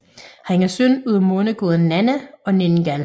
Han er søn af måneguden Nanna og Ningal